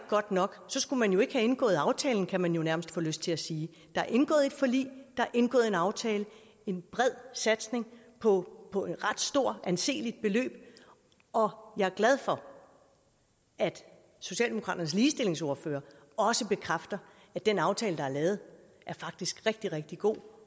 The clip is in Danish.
godt nok så skulle man jo ikke have indgået aftalen kan man jo nærmest få lyst til at sige der er indgået et forlig der er indgået en aftale en bred satsning på på et ret stort og anseligt beløb og jeg er glad for at socialdemokratiets ligestillingsordfører også bekræfter at den aftale der er lavet faktisk rigtig rigtig god